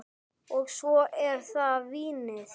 Og svo er það vínið.